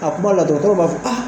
ka kuma la dɔgɔkɔrɔ b'a fɔ a